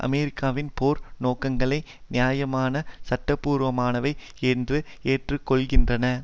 அமெரிக்காவின் போர் நோக்கங்களை நியாயமானவை சட்டபூர்வமானவை என்று ஏற்றுக்கொள்கின்றன